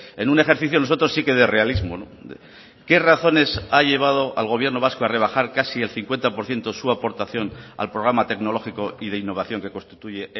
en un ejercicio nosotros sí que de realismo qué razones ha llevado al gobierno vasco a rebajar casi el cincuenta por ciento su aportación al programa tecnológico y de innovación que constituye